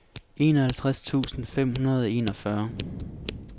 enoghalvtreds tusind fem hundrede og enogfyrre